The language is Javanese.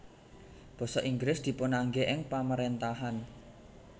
Basa Inggris dipunangge ing pamarentahan